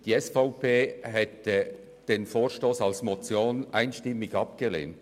Die SVP hätte den Vorstoss als Motion einstimmig abgelehnt.